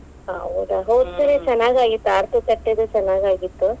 ಹೌದಾ. ಚೆನ್ನಾಗಾಗಿತ್ತ ಆರತಿ ತಟ್ಟೇದು ಚೆನ್ನಾಗಾಗಿತ್.